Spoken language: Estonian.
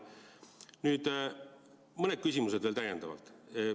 Nüüd mõned küsimused veel täiendavalt.